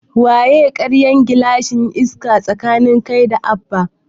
Waya karya gilashin Iska tsakanin kai da Abba?